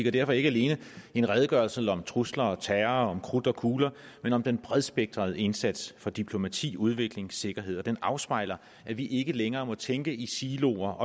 er derfor ikke alene en redegørelse om trusler og terror og om krudt og kugler men om den bredspektrede indsats for diplomati udvikling og sikkerhed den afspejler at vi ikke længere må tænke i siloer